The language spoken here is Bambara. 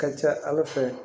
Ka ca ala fɛ